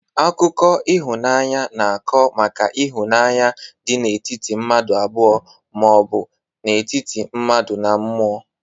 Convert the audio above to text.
Akụkọ ihụnanya na-akụ maka ihunanya dị n'etiti mmadu abụọ ma ọbụ n'etiti mmadu na mMụo.